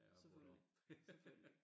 Selvfølgelig selvfølgelig